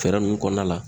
Fɛɛrɛ ninnu kɔnɔna la